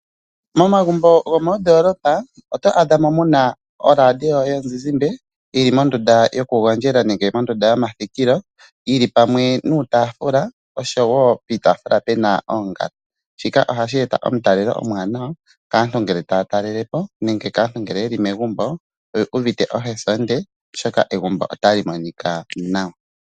Momagumbo gomoodoolopa oto adha mo mu na oradio yomuzizimba yi li mondunda yokugondjela nenge mondunda yomathikilo, yi li pamwe niitaafula osho wo piitaafula pu na oongala. Shika ohashi eta omutalelo omuwanawa kaantu ngele taa talele po, nenge kaantu ngele ye li megumbo oyi uvite ohesonde, oshoka egumbo otali monika nawa.